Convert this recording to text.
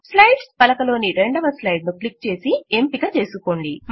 slides పలక లోని రెండవ స్లైడ్ ను క్లిక్ చేసి ఎంపిక చేసుకోండి